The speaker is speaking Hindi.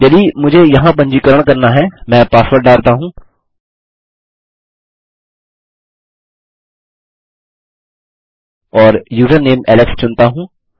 यदि मुझे यहाँ पंजीकरण करना है मैं पासवर्ड डालता हूँ और यूज़रनेम एलेक्स चुनता हूँ